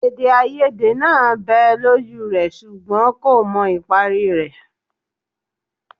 Èdèàìyedè náà bẹ́ẹ̀ lójú rẹ̀ ṣùgbọ́n kò mọ ìparí rẹ̀